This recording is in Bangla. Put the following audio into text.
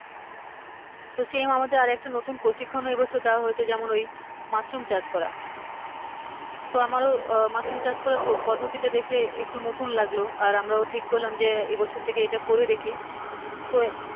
তো same আমাদের আরেকটা নতুন প্রশিক্ষণ এইবছর দেওয়া হয়েছে যেমন ওই মাশরুম চাষ করা তো আমারো আহ মাশরুম চাষ করার পদ্ধতি টা দেখে একটু নতুন লাগলো আর আমরাও ঠিক করলাম যে এবছর থেকে এইটা করে দেখি তো